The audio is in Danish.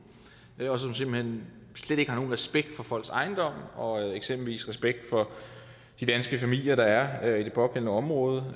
og som simpelt hen slet ikke har nogen respekt for folks ejendom og eksempelvis respekt for de danske familier der er i det pågældende område og